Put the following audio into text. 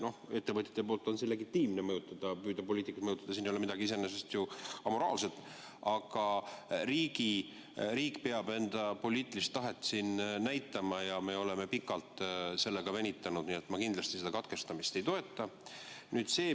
No ettevõtjate seisukohalt on see legitiimne, mõjutada, püüda poliitikuid mõjutada, siin ei ole iseenesest ju midagi amoraalset, aga riik peab siin enda poliitilist tahet näitama ja me oleme pikalt sellega venitanud, nii et ma kindlasti katkestamisettepanekut ei toeta.